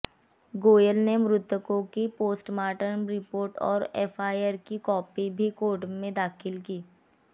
गोयल ने मृतकों की पोस्टमार्टम रिपोर्ट और एफआईआर की कॉपी भी कोर्ट में दाखिल की